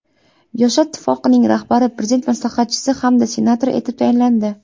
Yoshlar ittifoqining rahbari Prezident maslahatchisi hamda senator etib tayinlandi.